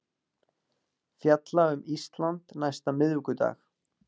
Fjalla um Ísland næsta miðvikudag